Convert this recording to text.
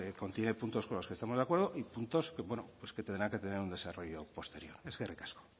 contiene puntos con los que estamos de acuerdo y puntos pues que tendrán que tener un desarrollo posterior eskerrik asko